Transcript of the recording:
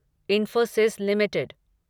Infosys limited